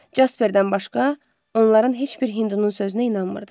Casperdən başqa, onların heç bir hindunun sözünə inanmırdı.